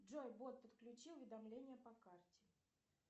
джой бот подключи уведомления по карте